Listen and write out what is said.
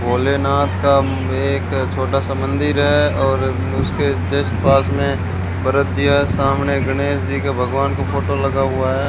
भोलेनाथ का एक छोटा सा मंदिर है और उसके जस्ट पास में भरतीया सामने गणेश जी का भगवान का फोटो लगा हुआ है।